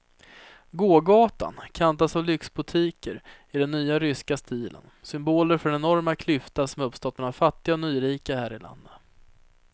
Gågatan kantas av lyxboutiquer i den nya ryska stilen, symboler för den enorma klyfta som uppstått mellan fattiga och nyrika här i landet.